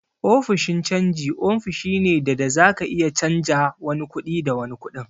Ofishin canji ofishi ne da da zaka iya canja wani kuɗi da wani kuɗin.